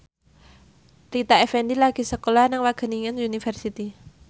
Rita Effendy lagi sekolah nang Wageningen University